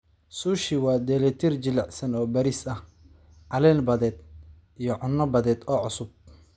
Sushi waa dheellitir jilicsan oo bariis ah, caleen badeed, iyo cunno badeed oo cusub.